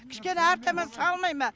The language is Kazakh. кішкене әрі таман салмай ма